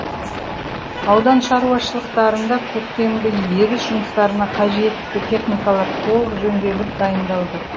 аудан шаруашылықтарында көктемгі егіс жұмыстарына қажетті техникалар толық жөнделіп дайындалды